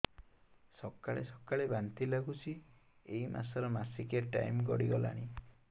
ସକାଳେ ସକାଳେ ବାନ୍ତି ଲାଗୁଚି ଏଇ ମାସ ର ମାସିକିଆ ଟାଇମ ଗଡ଼ି ଗଲାଣି